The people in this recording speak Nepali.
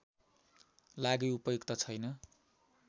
लागि उपयुक्त छैन